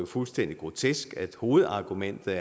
fuldstændig grotesk hovedargumentet